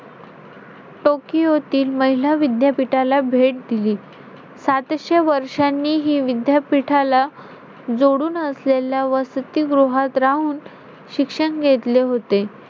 टोकियोतील महिला विद्यापीठाला भेट दिली. सातशे वर्षांनी हि विद्यापीठाला जोडून असलेल्या वसतिगृहात राहून शिक्षण घेतले होते.